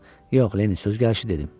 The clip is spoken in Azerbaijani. Yox, Lenni, söz gəlişi dedim.